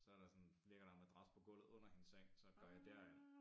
Så der sådan ligger der en madras på gulvet under hendes seng så går jeg derind